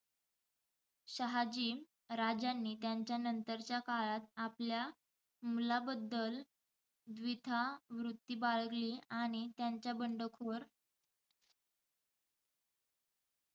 शहाजी राजांनी त्यांच्या नंतरच्या काळात आपल्या मुलाबद्दल द्विधा वृत्ती बाळगली. आणि त्याच्या बंडखोर,